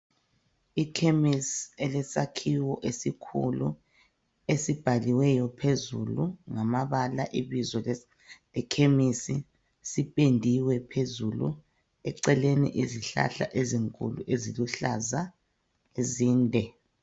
Ikhemisi elesakhiwo esikhulu esibhaliweyo phezulu ngamabala ibizo lekhimisi sipendiwe phezulu eceleni izihlahla ezinkulu eziluhlaza zinde